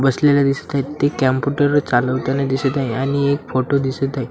बसलेले दिसतात ते कॅम्पुटर चालवताना दिसत आहे आणि एक फोटो दिसत आहे.